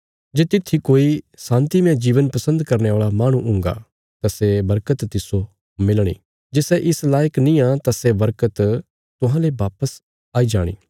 जे तित्थी कोई शान्तीमय जीवन पसन्द करने औल़ा माहणु हुंगा तां सै बरकत तिस्सो मिलणी जे सै इस लायक निआं तां सै बरकत तुहांले वापस आई जाणी